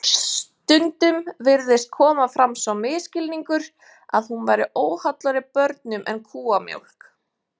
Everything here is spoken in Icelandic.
Stundum virðist koma fram sá misskilningur að hún væri óhollari börnum en kúamjólk.